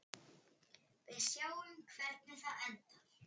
Við sjáum hvernig það endar.